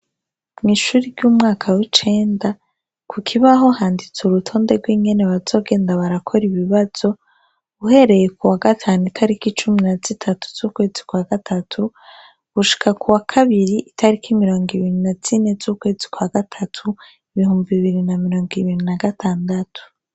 Mw'ishuri ry'umwaka w'icenda ku kibaho handitse urutonde rw'ingene bazogenda barakora ibibazo uhereye ku wa gatanu itariko icumi na zitatu z'ukwezi kwa gatatu gushika ku wa kabiri itariko imirongo ibinyu na zini z'ukwezi kwa gatatu ibihumba bibiri na mirongo ibintu na gatandatu.